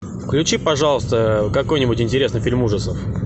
включи пожалуйста какой нибудь интересный фильм ужасов